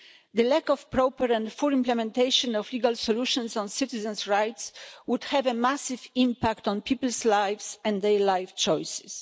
The lack of proper and full implementation of legal solutions on citizens' rights would have a massive impact on people's lives and their life choices.